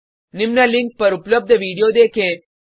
निम्न लिंक पर उपलब्ध वीडियो देखें